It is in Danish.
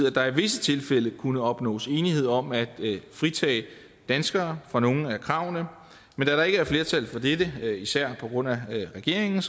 at der i visse tilfælde kunne opnås enighed om at fritage danskere for nogle af kravene men da der ikke er flertal for dette især på grund af regeringen